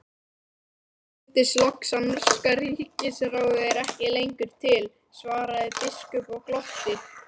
Mér skildist loks að norska ríkisráðið er ekki lengur til, svaraði biskup og glotti.